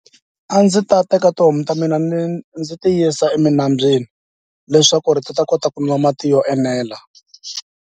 A ndzi ta teka tihomu ta mina ni ndzi ti yisa eminambyeni leswaku ri ti ta kota ku nwa mati yo enela.